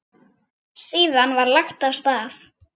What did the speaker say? Síðan var lagt af stað.